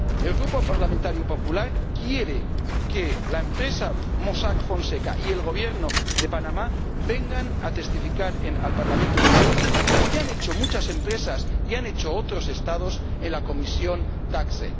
El Grupo PPE quiere que la empresa Mossack Fonseca y el Gobierno de Panamá vengan a testificar al Parlamento Europeo, como ya han hecho muchas empresas y han hecho otros Estados en la Comisión TAXE.